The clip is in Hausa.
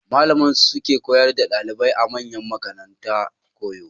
Malaman su suke koyar da ɗalibai a manyan makaranta koyo.